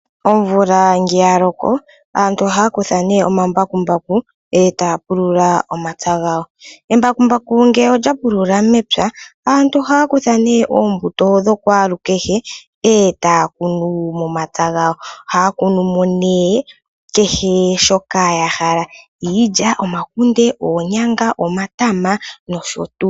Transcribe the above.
Omvula ngele yaloko aantu ohaya kutha nee omambakumbaku e taya pulula omapya gawo. Embakumbaku ngele olya pulula mepya aantu ohaya kutha nee oombuto dhokwaalukehe e taya kunu momapya gawo, ohaya kunu mo nee kehe shoka yahala iilya, omakunde, oonyanga, omatama nosho tuu.